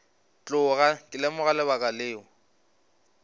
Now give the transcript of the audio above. tloga ke lemoga lebaka leo